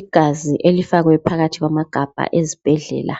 Igazi elifakwe phakathi kwamagabha ezibhedlela,